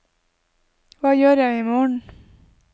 hva gjør jeg imorgen